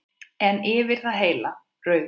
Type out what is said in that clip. En yfir það heila: Rauður.